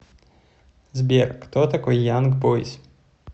сбер кто такой янг бойз